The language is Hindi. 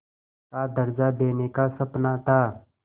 का दर्ज़ा देने का सपना था